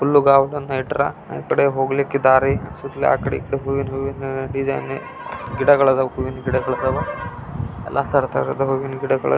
ಹುಲ್ಲು ಗವನ ಇಟ್ಟರ ಆಕಡೆ ಹೊಗಳಿಕೆ ದಾರಿ ಸುತ್ತಲೂ ಆ ಕಡೆ ಈ ಕಡೆ ಅಲ್ಲಿ ಹೂವುನ ಡಿಸೈನ್ ಗಿಡಗಳು ಹೂವಿನ ಗಿಡಗು ಇದಾವು ಎಲ್ಲ ತರಹದ ಗಿಡಗಳು --